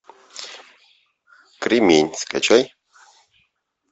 кремень скачай